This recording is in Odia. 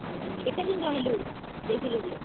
ଆଉ କେତେ ଦିନ୍ ରହେଲୁ, ଯେଇଥିଲୁ ଯେ?